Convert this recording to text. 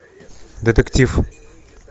детектив